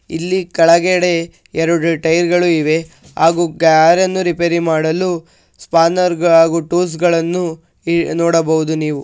ಇಲ್ಲಿ ಕೆಳಗಡೆ ಎರಡು ಟೈರ್ ಗಳು ಇವೆ ಹಾಗೆ ಕಾರ ನ್ನು ರಿಪೇರಿ ಮಾಡಲು ಸ್ಪಾನ್ನೆರ್ ಹಾಗೂ ಟೂಲ್ಸ್ ಗಳನ್ನೂ ನೋಡಬಹುದು ನೀವು.